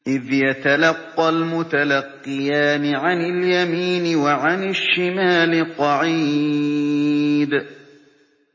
إِذْ يَتَلَقَّى الْمُتَلَقِّيَانِ عَنِ الْيَمِينِ وَعَنِ الشِّمَالِ قَعِيدٌ